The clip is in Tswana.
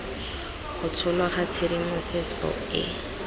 go tsholwa ga tshedimosetso e